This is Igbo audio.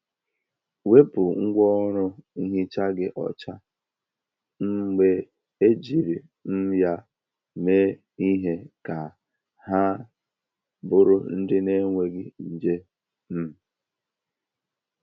Wepu ngwaọrụ nhicha gị ọcha um mgbe ejiri um ya mee ihe ka ha bụrụ ndị na-enweghị nje. um